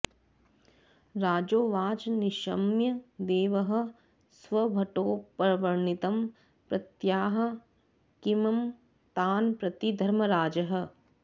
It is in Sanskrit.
राजोवाच निशम्य देवः स्वभटोपवर्णितं प्रत्याह किं तान् प्रति धर्मराजः